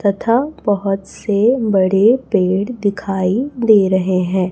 तथा बहोत से बड़े पेड़ दिखाई दे रहे हैं।